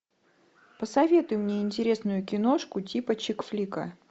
посоветуй мне интересную киношку типа чик флика